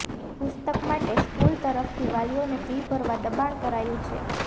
પુસ્તક માટે સ્કૂલ તરફથી વાલીઓને ફી ભરવા દબાણ કરાયું છે